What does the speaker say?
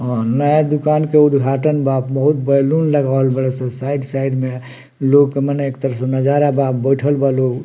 हां नया दुकान का उद्घाटन बा बहुत बैलून लगावल बड़े सन साइड साइड में लोग मने एक तरह से नजारा बा बइठल बा लोग।